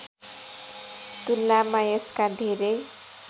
तुलनामा यसका धेरै